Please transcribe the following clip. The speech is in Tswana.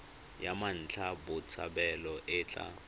ya mmatla botshabelo e tla